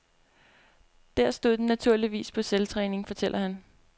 Der stod den naturligvis på selvtræning, fortæller han.